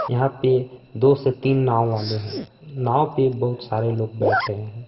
यहां पे दो से तीन नांव वाले हैं नांव पे बहुत सारे लोग बैठे हैं।